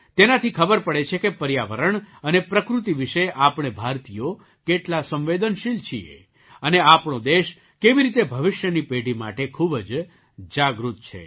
તેનાથી ખબર પડે છે કે પર્યાવરણ અને પ્રકૃતિ વિશે આપણે ભારતીયો કેટલા સંવેદનશીલ છીએ અને આપણો દેશ કેવી રીતે ભવિષ્યની પેઢી માટે ખૂબ જ જાગૃત છે